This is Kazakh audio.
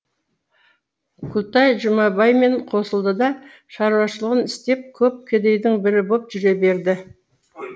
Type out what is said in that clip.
күлтай жұмабаймен қосылды да шаруашылығын істеп көп кедейдің бірі боп жүре берді